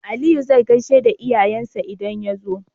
Aliyu zai gaishe da iyayen sa idan yazo